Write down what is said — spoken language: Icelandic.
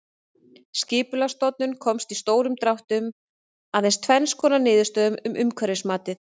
Skipulagsstofnun komst í stórum dráttum að tvenns konar niðurstöðu um umhverfismatið.